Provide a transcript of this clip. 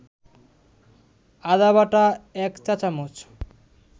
আদাবাটা ১ চা-চামচ